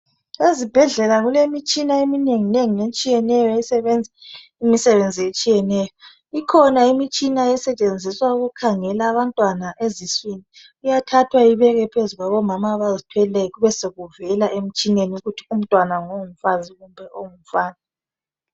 Ezibhedlela kulemitshina eminengi nengi etshiyeneyo esebenza imisebenzi etshiyeneyo. Ikhona imitshina esetshenziswa ukukhangela abantwana eziswini. Kuyathathwa ibekwe phezu kwabomama abazithweleyo kube sokuvela emtshineni ukuthi umntwana ngongumfazi kumbe ongumfana.